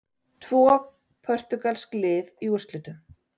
Tvö portúgölsk lið í úrslitum